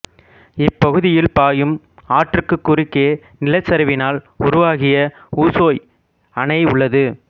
இப்பகுதியில் பாயும் ஆற்றுக்கு குறுக்கே நிலச்சரிவினால் உருவாகிய உசோய் அணை உள்ளது